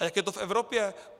A jak je to v Evropě?